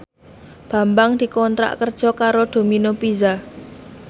Bambang dikontrak kerja karo Domino Pizza